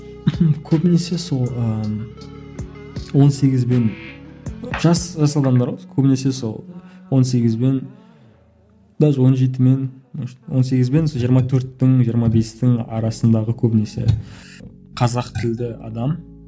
көбінесе сол ыыы он сегіз бен жас жас адамдар ғой көбінесе сол он сегіз бен даже он жеті мен может он сегіз бен сол жиырма төрттің жиырма бестің арасындағы көбінесе қазақ тілді адам